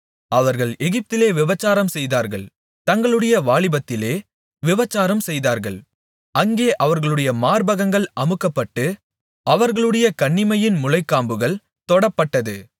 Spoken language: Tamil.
அவர்கள் எகிப்திலே விபசாரம் செய்தார்கள் தங்களுடைய வாலிபத்திலே விபசாரம் செய்தார்கள் அங்கே அவர்களுடைய மார்பகங்கள் அமுக்கப்பட்டு அவர்களுடைய கன்னிமையின் முலைக்காம்புகள் தொடப்பட்டது